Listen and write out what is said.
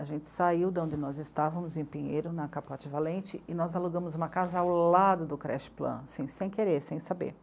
A gente saiu de onde nós estávamos, em Pinheiro, na Capote Valente, e nós alugamos uma casa ao lado do creche plan sem querer, sem saber.